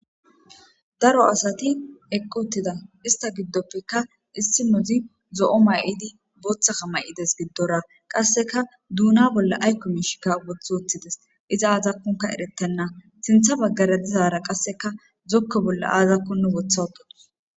Daro asati eqotida ista giddoppeka issi nozi zo'o may'idi booththaka may'ides giddora qasseka duuna bolla aykko miishikka woth ooththides iza aazakkunka eretenna sintha baggara dizaara qasseka zokko bolla aazakkonnu wotha wodotus